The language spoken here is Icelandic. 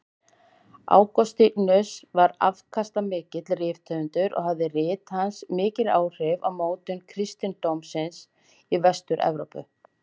Ágústínus var afkastamikill rithöfundur og höfðu rit hans mikil áhrif á mótun kristindómsins í Vestur-Evrópu.